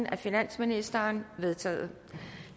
af finansministeren de vedtaget